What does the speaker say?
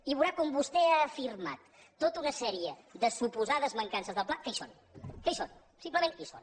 i veurà com vostè ha afirmat tota una sèrie de suposades mancances del pla que hi són que hi són simplement hi són